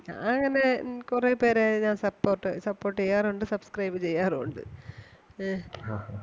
ഞാൻ അങ്ങനെ കൊറേ പേരെ ഞാൻ support support ചെയ്യാറും ഒണ്ട് subscribe ചെയ്യാറും ഒണ്ട്. ഏ